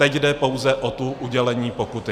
Teď jde pouze o to udělení pokuty.